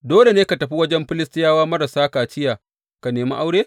Dole ne ka tafi wajen Filistiyawa marasa kaciya ka nemi aure?